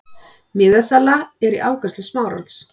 Miðasala er í afgreiðslu Smárans.